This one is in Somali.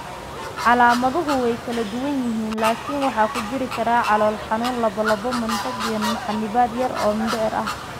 Calaamaduhu way kala duwan yihiin, laakiin waxaa ku jiri kara calool xanuun, lallabbo, matag, iyo xannibaad yar oo mindhicir ah.